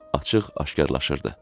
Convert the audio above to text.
Açıq aşkarlışırdı.